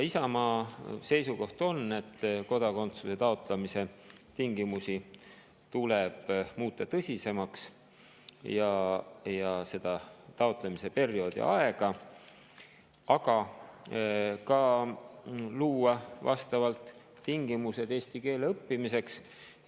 Isamaa seisukoht on, et kodakondsuse taotlemise tingimusi tuleb muuta tõsisemaks ja taotlemise perioodi aega, aga tuleb ka luua vastavad tingimused eesti keele õppimiseks.